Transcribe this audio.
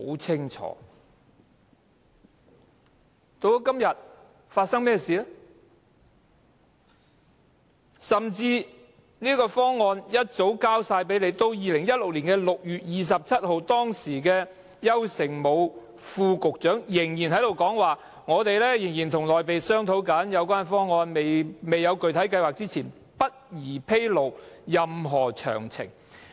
這個方案甚至早已提交政府，至2016年6月27日，當時的運輸及房屋局副局長邱誠武仍表示仍在和內地商討有關方案，"在訂出任何具體計劃之前，不宜披露任何詳情"。